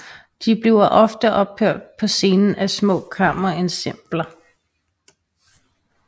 De bliver ofte opført på scenen af små kammerensembler